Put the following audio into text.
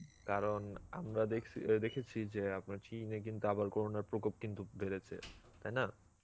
কারণ আমরা দেখসি অ্যাঁ দেখেছি যে আপনার চিনে কিন্তু আবার corona র প্রকোপ কিন্তু বেড়েছে, তাইনা?